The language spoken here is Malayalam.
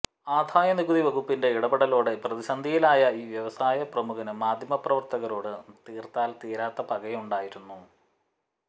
ആദായ നികുതി വകുപ്പിന്റെ ഇടപെടലോടെ പ്രതിസന്ധിയിലായ ഈ വ്യവസായ പ്രമുഖന് മാധ്യമ പ്രവർത്തകനോട് തീർത്താൽ തീരാത്ത പകയുണ്ടായിരുന്നു